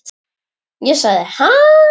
Ég sagði: Ha?